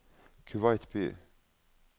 Kuwait by